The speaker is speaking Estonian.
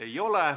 Ei ole.